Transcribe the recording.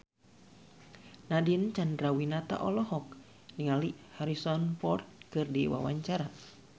Nadine Chandrawinata olohok ningali Harrison Ford keur diwawancara